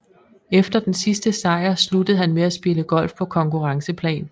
Efter den sidst sejr sluttede han med at spille golf på konkurrenceplan